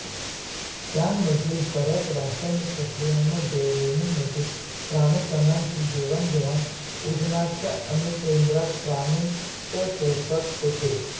त्यामधील बऱ्याच रासायनिक प्रक्रियांमधे रेणूंमधील प्राणु कणांची देवाणघेवाण उदजनच्या अणुकेंद्रातील प्राणूच्या स्वरूपात होते